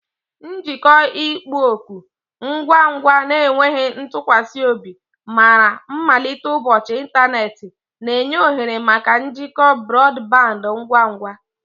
Njikọ ịkpọ oku, ngwa ngwa na enweghị ntụkwasị obi, mara mmalite ụbọchị ịntanetị, na-enye ohere maka njikọ brọdband ngwa ngwa.